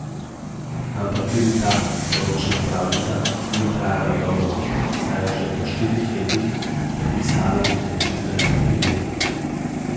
Ampak tudi ta poročna pravljica ni trajala dolgo, saj je že po štirih letih podpisala ločitvene papirje.